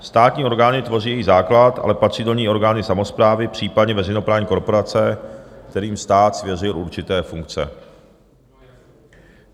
Státní orgány tvoří její základ, ale patří do ní orgány samosprávy, případně veřejnoprávní korporace, kterým stát svěřil určité funkce.